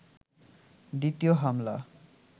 দ্বিতীয় হামলা